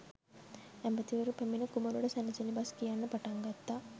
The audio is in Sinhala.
ඇමතිවරු පැමිණ කුමරුට සැනසිලි බස් කියන්න පටන් ගත්තා.